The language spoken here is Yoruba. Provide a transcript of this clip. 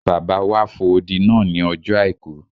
Bàbá wa fo odi náà ní ọjọ́ àìkú